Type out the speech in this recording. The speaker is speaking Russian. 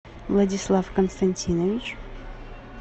владислав константинович